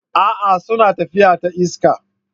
A'a! suna tafiya ta iska.